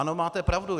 Ano, máte pravdu.